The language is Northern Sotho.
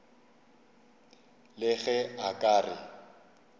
le ge a ka re